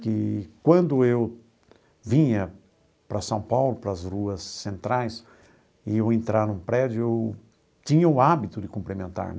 que quando eu vinha para São Paulo, para as ruas centrais, e eu entrava num prédio, eu tinha o hábito de cumprimentar.